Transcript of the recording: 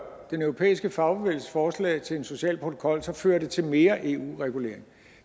den europæiske fagbevægelses forslag til en social protokol så fører det til mere eu regulering